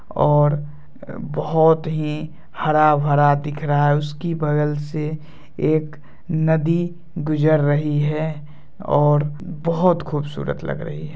और बहुत ही हरा भरा दिख रहा हैउसकी बगल से एक नदी गुजर रही है और बहुत खूबसूरत लग रही है।